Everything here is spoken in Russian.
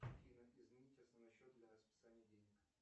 афина изменить основной счет для списания денег